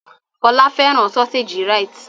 Fọlá fẹ́ràn sọ́séjì Rite.